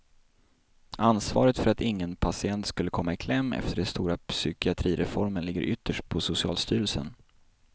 Ansvaret för att ingen patient skulle komma i kläm efter den stora psykiatrireformen ligger ytterst på socialstyrelsen.